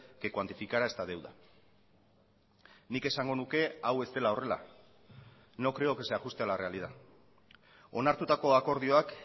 que cuantificara esta deuda nik esango nuke hau ez dela horrela no creo que se ajuste a la realidad onartutako akordioak